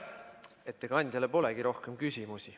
Ettekandjale polegi rohkem küsimusi.